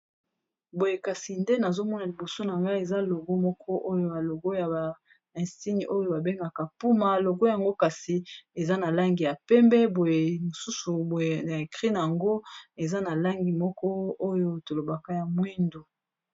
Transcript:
Boye kasi nde nazomona liboso na ngai eza logo moko oyo ba logo ya elombo oyo babengaka Puma, logo yango kasi eza na langi ya pembe, na makomi na yango eza na langi moko oyo tolobaka ya mwindu.